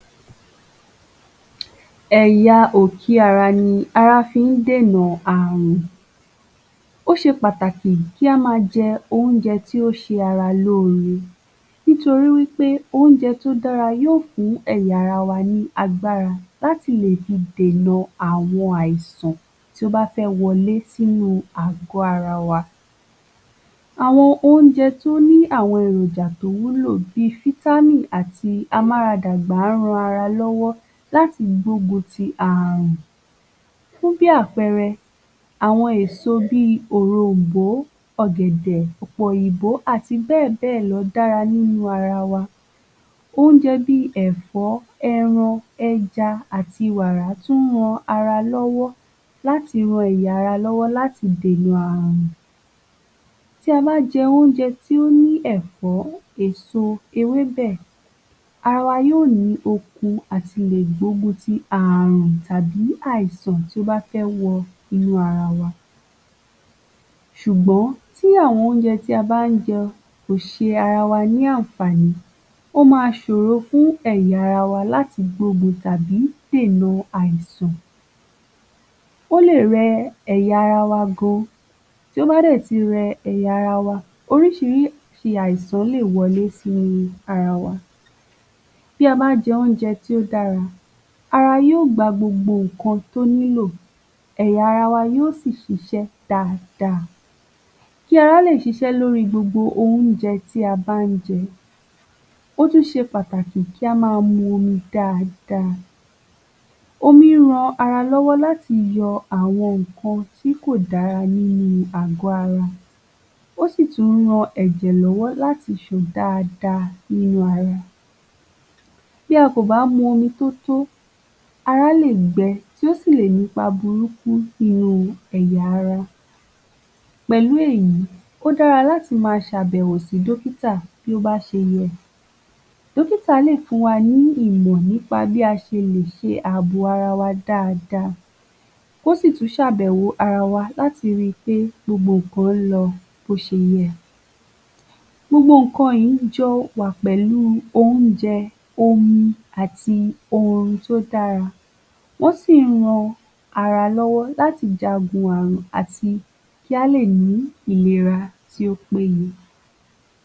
Ẹ̀ya òkè ara ni ara fí ń dènà àrùn. Ó ṣe pàtàkì kí a ma jẹ oúnjẹ tí ó ṣe ara lóre nítorí wí pé oúnjẹ tí ó dára yóò fún ẹ̀ya ara wa ní agbára láti lé dènà àwọn àìsàn tí ó bá fẹ́ wọlé sínú àgọ ara wa. Àwọn oúnjẹ tí ó ní àwọn èròjà tí ó wúlò bí àti a mú ara dàgbà a ń rọ ara wa lọ́wọ́ láti gbógun ti àrùn fún bí àpẹẹrẹ àwọn èso bí òròmbó, ọ̀gẹ̀dẹ̀ pọ̀pọ̀ òyìnbó àti bẹ́ẹ̀ bẹ́ẹ̀ lọ dára nínú ara wa, oúnjẹ bí ẹ̀fọ́, ẹran, ẹja àti wàrà tún ran ara lọ́wọ́ láti dènà àrùn. Tí a bá jẹ́ oúnjẹ tí ó ní ẹ̀fọ́, èso, ewébẹ̀, ara yóò ní okun àti lè gbógun tí àrùn tàbí àìsàn tí ó bá fẹ́ wọ inú ara wa. Ṣùgbọ́n tí àwọn oúnjẹ tí a bá ń jẹ kò ṣe ara wa ní àǹfààní ó ma ṣòro fún ẹ̀yà ara wa láti gbógun ti tàbí dènà àìsàn. Ó lè rẹ̀ ẹ̀yà ara wa gan, tí ó bá dẹ̀ tí rẹ ẹ̀yà ara wa oríṣiríṣi àìsàn lè wọlé sí ara wa ti a ba jẹun tí ó dára ara yóò gba gbogbo nǹkan tí ó nílò, eya ara wa yóò sì ṣiṣẹ́ daada kí ara le ṣiṣẹ́ lórí gbogbo oúnjẹ tí a bá ń jẹ ó tún ṣe pàtàkì kí a ma mu omi dáàda. Omi rán ara lọ́wọ́ láti yọ àwọn nǹkan tí kò dára nínú àgò ara, ó sì tún rán ẹ̀jẹ̀ lọ́wọ́ láti ṣàn dáàda nínú ara, bí a kò bá mu omi tó tọ́, ara ké gbe tí ó sì lè fa burúkú nínú ẹ̀yà ara. Pẹ̀lú èyí, ó dára láti má ṣe àbẹ̀wò sí dókítà bí ó bá ṣe yẹ. Dókítà lè fún wa ní ìmọ̀ràn nípa bí a ṣe lè ṣe àbò ara wa dáàda, kò sì tún ṣe àbẹ̀wò ara wa láti rí pé gbogbo nǹkan ń lọ bí ó ṣe yẹ. Gbogbo nǹkan yìí jọ wà pẹ̀lú oúnjẹ, omi àti orin tí ó dára tí ó sìn ń ran ara lọ́wọ́ láti jagun àrùn àti kí a lè ní ìlera tí ó péye.